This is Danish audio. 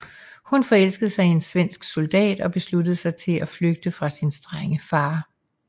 Hun forelskede sig i en svensk soldat og besluttede sig til at flygte fra sin strenge far